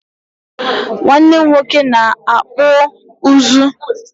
nwannem nwoke na-akpụ ụzụ.